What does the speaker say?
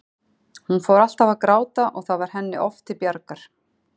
Hún fór alltaf að gráta og það varð henni oft til bjargar.